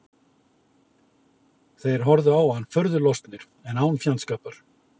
Þeir horfðu á hann furðu lostnir en án fjandskapar.